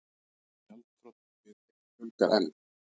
Gjaldþrotum fyrirtækja fjölgar enn